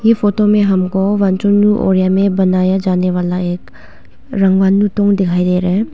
इ फोटो में हमको वांचून ओरिया में बनाया जाने वाला एक दिखाई दे रहा है।